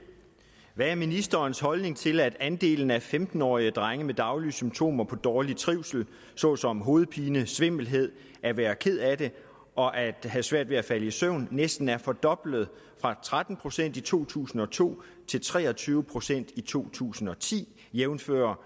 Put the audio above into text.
hvad er ministerens holdning til at andelen af femten årige drenge med daglige symptomer på dårlig trivsel såsom hovedpine svimmelhed at være ked af det og at have svært ved at falde i søvn næsten er fordoblet fra tretten procent i to tusind og to til tre og tyve procent i to tusind og ti jævnfør